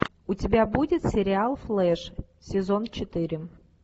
у тебя будет сериал флэш сезон четыре